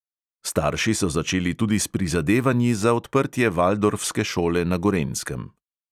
Starši so začeli tudi s prizadevanji za odprtje valdorfske šole na gorenjskem.